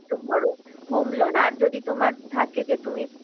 বড়ো home loan আর যদি তোমার থাকে যে তুমি